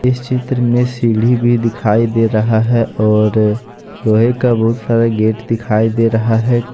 इस चित्र में सीढ़ी भी दिखाई दे रहा है और लोहे का बहुत सारे गेट दिखाई दे रहा है।